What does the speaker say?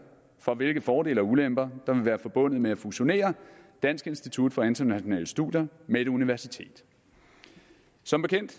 for hvilke fordele og ulemper der vil være forbundet med at fusionere dansk institut for internationale studier med et universitet som bekendt